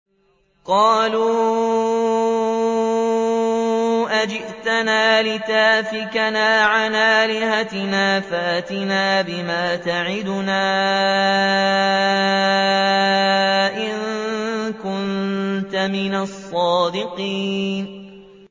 قَالُوا أَجِئْتَنَا لِتَأْفِكَنَا عَنْ آلِهَتِنَا فَأْتِنَا بِمَا تَعِدُنَا إِن كُنتَ مِنَ الصَّادِقِينَ